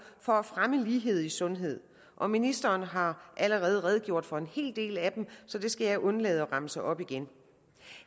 for at fremme lighed i sundhed og ministeren har allerede redegjort for en hel del af dem så det skal jeg undlade at remse op igen